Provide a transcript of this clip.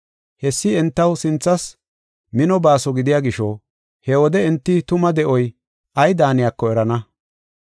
Hessi entaw sinthas mino baaso gidiya gisho, he wode enti tuma de7oy ay daaniyako erana.